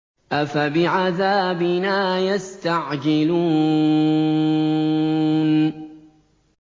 أَفَبِعَذَابِنَا يَسْتَعْجِلُونَ